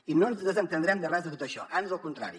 i no ens desentendrem de res de tot això ans el contrari